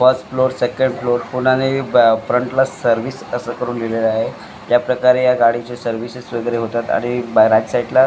पाच floor second floor पुन्हाने front ला सर्विस असं करून लिहिलेलं आहे त्या प्रकारे या गाडीचे सर्विसेस वगैरे होतात आणि राइट साईड ला --